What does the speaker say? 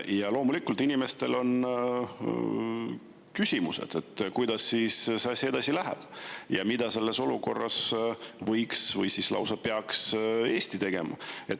Ja loomulikult inimestel on küsimused, kuidas siis see asi edasi läheb ja mida selles olukorras võiks Eesti teha või siis lausa peaks tegema.